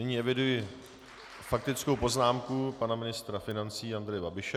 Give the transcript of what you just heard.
Nyní eviduji faktickou poznámku pana ministra financí Andreje Babiše.